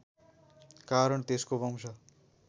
कारण त्यसको वंश